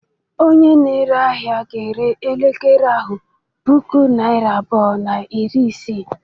Onye na-ere ahịa ga-ere elekere ahu puku naịra abụọ na iri isii.